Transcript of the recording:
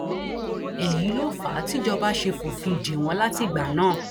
èyí ló fà á tìjọba ṣe fòfin dè wọn látìgbà náà